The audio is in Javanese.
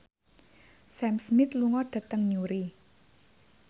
Sam Smith lunga dhateng Newry